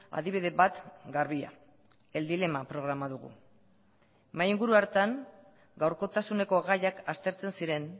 adibide bat garbia el dilema programa dugu mahai inguru hartan gaurkotasuneko gaiak aztertzen ziren